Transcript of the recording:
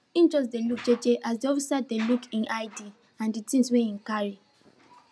him jux dey wait jeje as de officer dey look hin id and de things wey hin carry